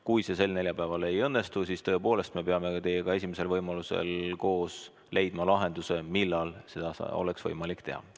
Kui see sel neljapäeval ei õnnestu, siis tõepoolest me peame teiega esimesel võimalusel koos leidma lahenduse, millal seda oleks võimalik teha.